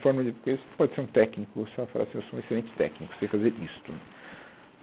Forma de porque aí você pode ser um técnico, você vai falar assim, eu sou um excelente técnico, sei fazer isto.